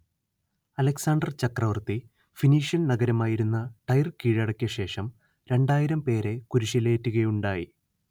Alexander ചക്രവർത്തി Phoenician നഗരമായിരുന്ന Tyre കീഴടക്കിയശേഷം രണ്ടായിരം പേരെ കുരിശിലേറ്റുകയുണ്ടായി